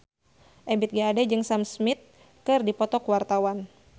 Ebith G. Ade jeung Sam Smith keur dipoto ku wartawan